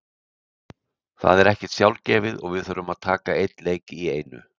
Það er ekkert sjálfgefið og við þurfum að taka einn leik í einu.